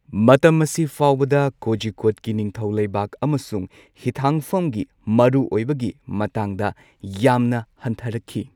ꯃꯇꯝ ꯑꯁꯤ ꯐꯥꯎꯕꯗ ꯀꯣꯖꯤꯀꯣꯗꯀꯤ ꯅꯤꯡꯊꯧ ꯂꯩꯕꯥꯛ ꯑꯃꯁꯨꯡ ꯍꯤꯊꯥꯡꯐꯝꯒꯤ ꯃꯔꯨꯑꯣꯏꯕꯒꯤ ꯃꯇꯥꯡꯗ ꯌꯥꯝꯅ ꯍꯟꯊꯔꯛꯈꯤ꯫